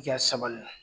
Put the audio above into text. I ka sabali